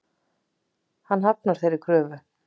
Hann hafnar þeirri kröfu.